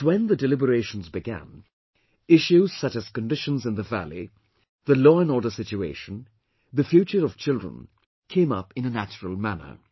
But when the deliberations began, issues such as conditions in the valley, the law and order situation, the future of children came up in a natural manner